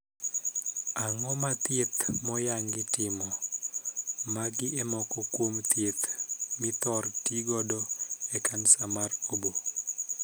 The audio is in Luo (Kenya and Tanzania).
Ango ma thieth moyangi timo. Magi e moko kuom thieth mithor tii godo e kansa mar oboo.